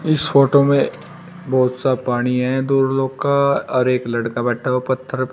इस फोटो में बहोत सा पानी है दो लोग का और एक लड़का बैठा हूं पत्थर पे--